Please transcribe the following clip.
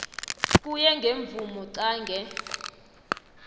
kuye ngemvumo qange